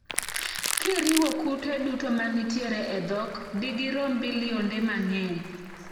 Kiriwo kute duto ma nitiere e dhok, digirom bilionde mang'eny.